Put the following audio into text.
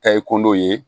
Ta ye ko n'o ye